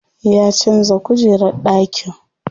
Ya canza kujerar ɗakin.